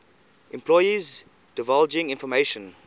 employees divulging information